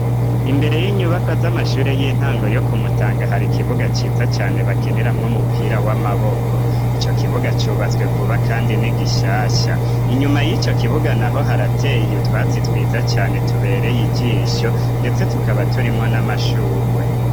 Imbere y'inyubakwa z'amashure y'intango yo kumutanga hari ikibuga cyiza cyane bakenira mw umupira w'amaboko icyo kibuga cyubatswe vuba kandi n'igishasha inyuma y'icyo kibuga naho harateye utwatsi twiza cyane tubereye igisho ndetse tukaba turimwo n'amashuugwe.